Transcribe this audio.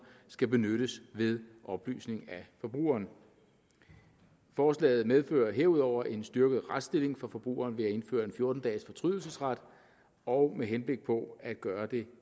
skal benyttes ved oplysning af forbrugeren forslaget medfører herudover en styrket retsstilling for forbrugeren ved at indføre en fjorten dages fortrydelsesret og med henblik på at gøre det